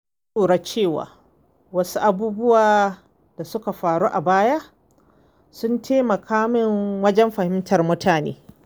Na lura cewa wasu abubuwa da suka faru a baya sun taimaka min wajen fahimtar mutane.